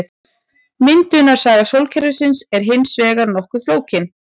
Myndunarsaga sólkerfisins er hins vegar nokkuð flókin.